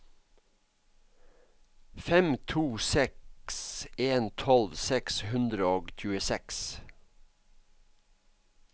fem to seks en tolv seks hundre og tjueseks